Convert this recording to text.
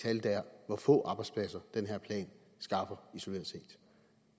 tal der er hvor få arbejdspladser den her plan skaffer isoleret set